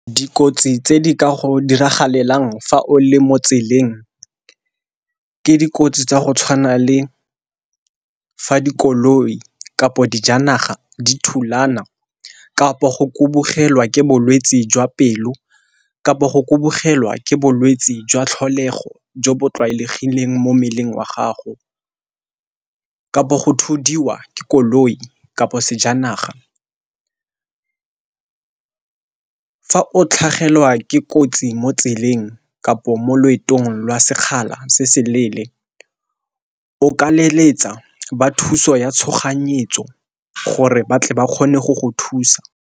Dikotsi tse di ka go diragalelang fa o le mo tseleng ke dikotsi tsa go tshwana le fa dikoloi kapo dijanaga di thulana, kapo go kubugelwa ke bolwetsi jwa pelo, kapo go kubugelwa ke bolwetsi jwa tlholego jo bo tlwaelegileng mo mmeleng wa gago, kapo go thudiwa ke koloi kapo sejanaga. Fa o tlhagelwa ke kotsi mo tseleng kapo mo loetong lwa sekgala se se leele o ka leletsa ba thuso ya tshoganyetso gore batle ba kgone go go thusa.